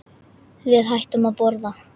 Við hættum að borða.